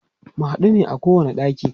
mu huɗu ne a kowani ɗaki